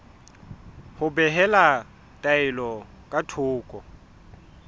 ho behela taelo ka thoko